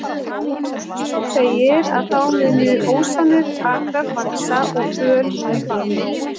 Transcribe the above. Í Völuspá segir að þá muni ósánir akrar vaxa og böl mun batna.